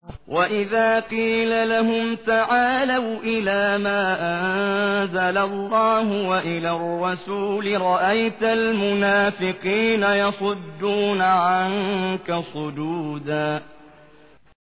وَإِذَا قِيلَ لَهُمْ تَعَالَوْا إِلَىٰ مَا أَنزَلَ اللَّهُ وَإِلَى الرَّسُولِ رَأَيْتَ الْمُنَافِقِينَ يَصُدُّونَ عَنكَ صُدُودًا